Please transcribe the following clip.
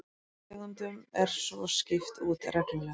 Tegundum er svo skipt út reglulega